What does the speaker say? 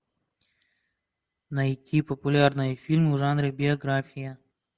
найти популярные фильмы в жанре биография